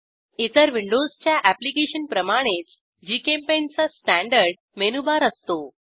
इतर विंडोजच्या अॅप्लिकेशन प्रमाणेच जीचेम्पेंट चा स्टँडर्ड मेनूबार असतो